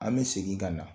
An bɛ segin ka na